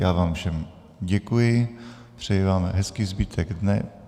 Já vám všem děkuji, přeji vám hezký zbytek dne.